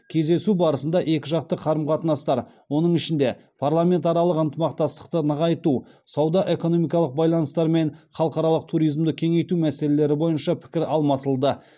кездесу барысында екіжақты қарым қатынастар оның ішінде парламентаралық ынтымақтастықты нығайту сауда экономикалық байланыстар мен халықаралық туризмді кеңейту мәселелері бойынша пікір алмасылды